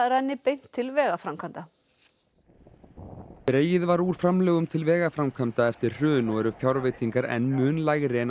renni beint til vegaframkvæmda dregið var úr framlögum til vegaframkvæmda eftir hrun og eru fjárveitingar enn mun lægri en